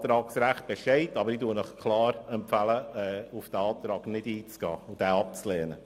Das Antragsrecht besteht zwar, aber ich empfehle Ihnen klar, nicht auf diesen Antrag einzugehen und diesen abzulehnen.